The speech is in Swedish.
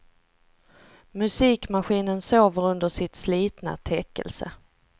Musikmaskinen sover under sitt slitna täckelse.